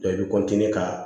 i bɛ ka